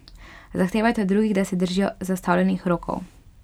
Zahtevajte od drugih, da se držijo zastavljenih rokov.